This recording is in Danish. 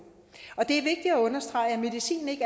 og det er vigtigt at understrege at medicin ikke